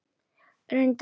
Reyndu það.